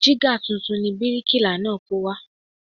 Jígà tuntun ni bíríkìlà náà kó wá